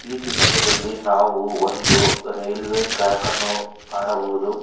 ಈ ಚಿತ್ತಿರದಲ್ಲಿ ನಾವು ಒಂದು ರೈಲ್ವೆ ಟ್ರ್ಯಾಕ್ ಅನ್ನು ಕಾಣಬಹುದು.